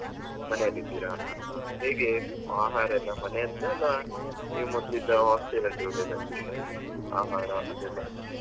ಮನೆಯಲ್ಲಿ ಇದ್ದೀರಾ ಹ ಹಾ ಹೇಗೆ ಆಹಾರಯೆಲ್ಲ ಮನೆಯದ್ದ ಇಲ್ಲ ನೀವ್ ಮೊದ್ಲಿದ್ದ hostel ಅಲ್ಲಿ ಇರುದ ಆಹಾರ ಅದೆಲ್ಲ.